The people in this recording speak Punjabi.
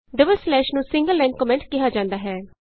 ਡਬਲ ਸਲੈਸ਼ ਨੂੰ ਸਿੰਗਲ ਲਾਈਨ ਕੋਮੈਂਟ ਕਿਹਾ ਜਾਂਦਾ ਹੈ